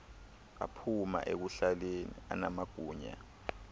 aphuma ekuhlaleni anamagunya